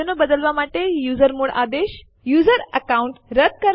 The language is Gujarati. આપણે લખીશું સીએમપી સેમ્પલ1 સેમ્પલ2 અને Enter કળ દબાવો